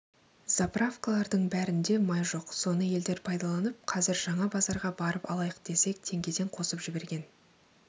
заправкалардың бәрінде май жоқ соны елдер пайдаланып қазір жаңа базарға барып алайық десек теңгеден қосып жіберген